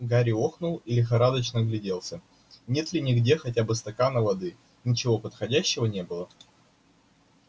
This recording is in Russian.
гарри охнул и лихорадочно огляделся нет ли где хотя бы стакана воды ничего подходящего не было